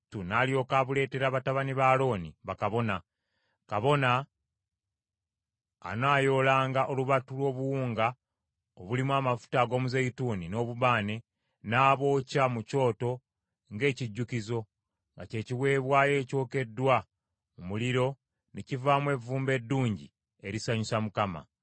n’alyoka abuleetera batabani ba Alooni, bakabona. Kabona anaayoolanga olubatu lw’obuwunga obulimu amafuta ag’omuzeeyituuni n’obubaane, n’abwokya mu kyoto ng’ekijjukizo, nga kye kiweebwayo ekyokeddwa mu muliro ne kivaamu evvumbe eddungi erisanyusa Mukama .